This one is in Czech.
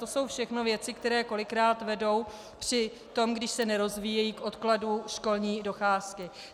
To jsou všechno věci, které kolikrát vedou při tom, když se nerozvíjejí, k odkladu školní docházky.